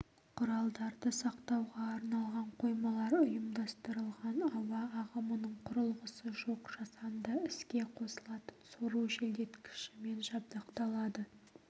құралдарды сақтауға арналған қоймалар ұйымдастырылған ауа ағымының құрылғысы жоқ жасанды іске қосылатын сору желдеткішімен жабдықталады